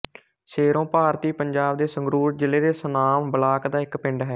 ਸ਼ੇਰੋਂ ਭਾਰਤੀ ਪੰਜਾਬ ਦੇ ਸੰਗਰੂਰ ਜ਼ਿਲ੍ਹੇ ਦੇ ਸੁਨਾਮ ਬਲਾਕ ਦਾ ਇੱਕ ਪਿੰਡ ਹੈ